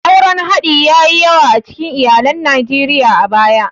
Auren haɗi ya yi yawa a cikin iyalan Najeriya a baya.